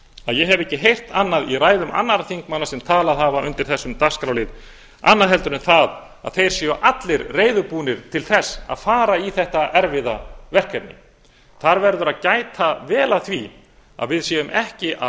að ég hef ekki heyrt annað í ræðum annarra þingmanna sem talað hafa undir þessum dagskrárlið annað en það að þeir séu allir reiðubúnir til að fara í þetta erfiða verkefni þar verður að gæta vel að því að við séum ekki að